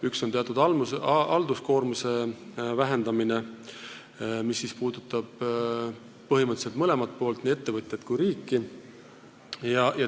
Üks on halduskoormuse vähendamine, mis puudutab põhimõtteliselt mõlemat poolt, nii ettevõtjat kui riiki.